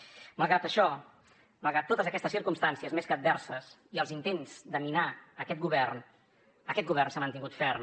malgrat això malgrat totes aquestes circumstàncies més que adverses i els intents de minar aquest govern aquest govern s’ha mantingut ferm